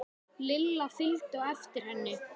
Lilla fylgdu á eftir henni.